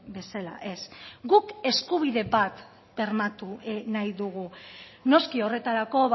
bezala ez guk eskubide bat bermatu nahi dugu noski horretarako